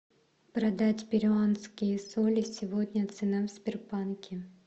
продать перуанские соли сегодня цена в сбербанке